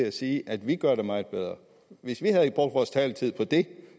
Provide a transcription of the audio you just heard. at sige at vi gør det meget bedre hvis vi havde brugt vores taletid på det